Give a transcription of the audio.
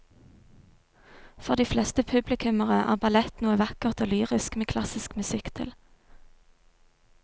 For de fleste publikummere er ballett noe vakkert og lyrisk med klassisk musikk til.